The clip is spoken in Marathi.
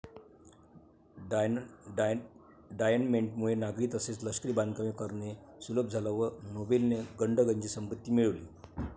डायनमेंटमुळे नागरी तसेच लष्करी बांधकामे करणे सुलभ झालं व नोबेलने गडगंज संपत्ती मिळवली.